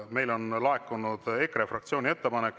Meile on laekunud EKRE fraktsiooni ettepanek.